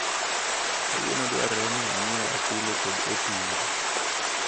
Kawuono dwarore ni anyieu apilo kod otungu.